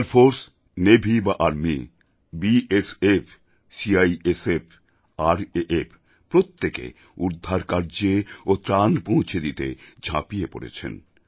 air force navy বা army BSF CISF RAF প্রত্যেকে উদ্ধার কার্যে ও ত্রাণ পৌঁছে দিতে ঝাঁপিয়ে পড়েছেন